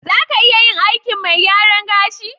Za ka iya yin aikin mai gyaran gashi?